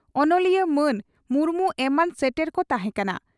ᱚᱱᱚᱞᱤᱭᱟᱹ ᱢᱟᱱ ᱢᱩᱨᱢᱩ ᱮᱢᱟᱱ ᱥᱮᱴᱮᱨ ᱠᱚ ᱛᱟᱦᱮᱸᱠᱟᱱᱟ ᱾